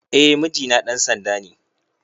Eh mijina ɗan sanda ne